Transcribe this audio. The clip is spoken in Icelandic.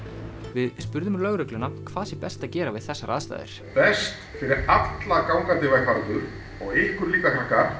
við spurðum lögregluna hvað sé best að gera við þessar aðstæður best fyrir alla gangandi vegfarendur og ykkur líka